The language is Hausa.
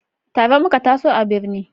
Tare muka taso a birni